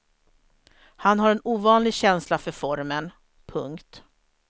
Han har en ovanlig känsla för formen. punkt